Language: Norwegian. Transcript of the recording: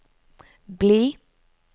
bli